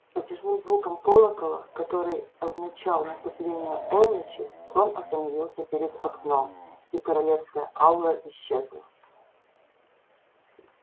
с протяжным звуком колокола который означал наступление полночи трон остановился перед окном и королевская аура исчезла